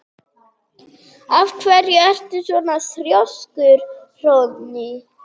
Af hverju ertu svona þrjóskur, Hróðný?